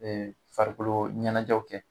farikolo ɲɛnajɛw kɛ